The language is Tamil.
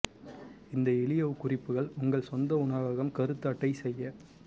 இந்த எளிய குறிப்புகள் உங்கள் சொந்த உணவகம் கருத்து அட்டை செய்ய